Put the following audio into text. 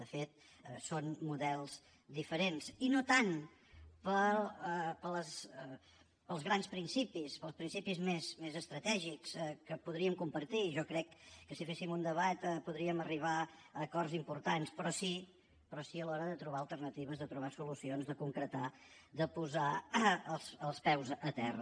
de fet són models diferents i no tant pels grans principis pels principis més estratègics que podríem compartir jo crec que si féssim un debat podríem arribar a acords importants però sí a l’hora de trobar alternatives de trobar solucions de concretar de posar els peus a terra